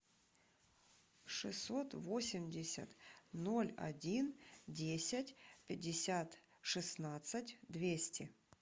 шестьсот восемьдесят ноль один десять пятьдесят шестнадцать двести